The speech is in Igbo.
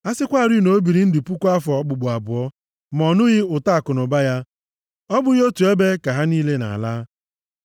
A sịkwarị na o biri ndụ puku afọ, okpukpu abụọ, ma ọ nụghị ụtọ akụnụba ya. Ọ bụghị nʼotu ebe ka ha niile na-ala?